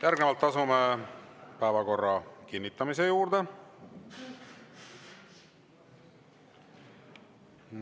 Järgnevalt asume päevakorra kinnitamise juurde.